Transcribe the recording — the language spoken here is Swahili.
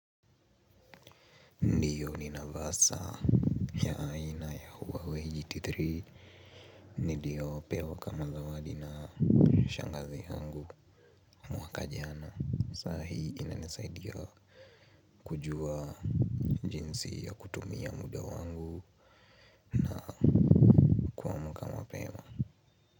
Ndiyo ni navaa saa ya aina ya huawei GT3. Niliyopewa kama zawadi na shangazi yangu mwaka jana. Saa hii inanisaidia kujua jinsi ya kutumia muda wangu na kuamka mapema.